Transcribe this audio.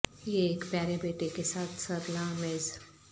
یہ ایک پیارے بیٹے کے ساتھ سر لا میز